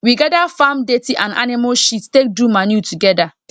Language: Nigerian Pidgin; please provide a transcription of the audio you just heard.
we gather farm dirty and animal shit take do manure together